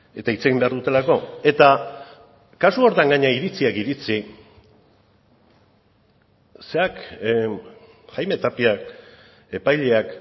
eta hitz egin behar dutelako eta kasu horretan gainera iritziak iritzi jaime tapiak epaileak